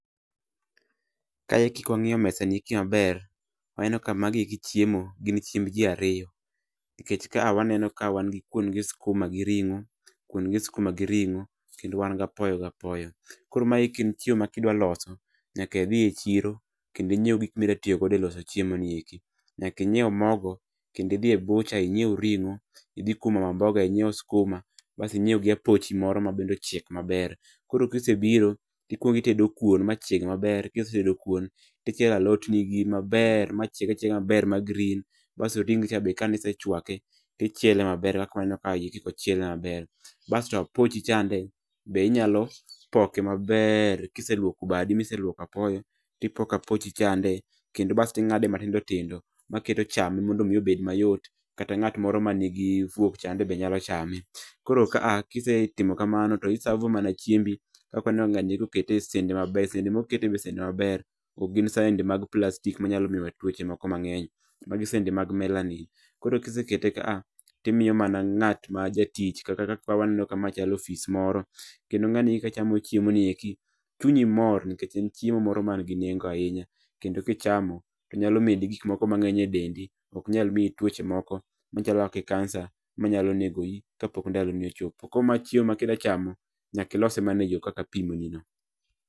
Kae eki kwa ngiyo mesa ni maber waneno ka magi eki chiemo gin chiemb ji ariyo, nikech ka a waneno ka wan ka wan gi kwon gi skuma gi ring'o kwon gi skuma gi ring'o kendo wan gapoyo gapoyo koro maeki en chiemo ma kidwa loso nyaka idhi e chiro kendo inyiew gokma idwa tiyogodo e loso chiemonieki nyaka inyiew mogo kendo idhi e bucha inyiew ring'o idhi kwom mama mboga inyiew skuma bas inyiew gi apochi moro ma bende ochiek maber koro kisebiro ti kwongi tedo kwon ma chieg maber kisetedo kwon tichielo alot ni gi maber ma chieg achiega maber ma green basto ringi cha kanise chwake tichiele maber kaka waneno kaeki kochiele maber, basto apochichande inyalo poke mabeer kiseluoko badi miseluoko apoyo ipoko apochi chande kendo bs ting'ade matindo tindo maketo chame mondo omi obed mayot kata ng'at moro ma nigi fuok chande be nyalo chame, koro kaa kisetimo kamano to isavo mana chiembi kaponi ikete e sende maber sende moketego ok gin sende mag plastic ma nyalo kelonwa tuoche moko mang'eny magi sende mag melanin kisekete ka a timiyo mana ng'at ma jatich kaka kaa waneno ka chalo ofis moro kendo ng'eny gi ka chamo chimoni eki chunyi mor nikech en chiemo moro man gi neng'o ahinya kendi kichamo to nyalo medi gik moko ma ng'eny e dendi ok nyal mi i tuoche moko machalo kaka kansa manyalo nego i ka pok ndalo ni ochopo, koro mae chiemo ma kida chamo ilose mana e yoo kaka apimonino.